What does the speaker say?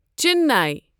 چننَے